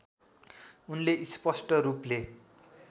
उनले स्पष्ट रूपले